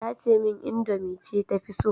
Tace min indomie ce ta fi so